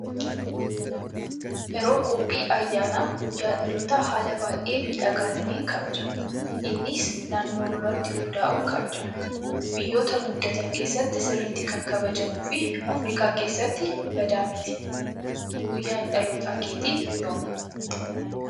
Yeroo qophii ayyaana guyyaa dhaloota haala baay'ee miidhagaa ta'een kabajama. Innis naannoo irratti hundaa'uun kabajama. Biyyoota guddatan keessatti sirriitti kan kabajamuu fi Afrikaa keessatti badaa miti. Guyyaan dhaloota keetii yoomi?